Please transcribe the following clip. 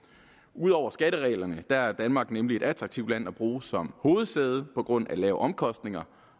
ud over skattereglerne er danmark nemlig et attraktivt land at bruge som hovedsæde på grund af lave omkostninger